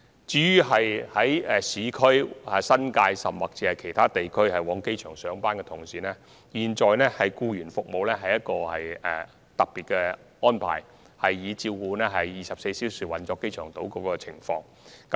至於由市區、新界，甚或其他地區前往機場上班的人士，現有的僱員服務已屬特別安排，以配合機場島24小時的運作。